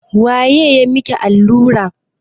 Waye ya yi maki allurar?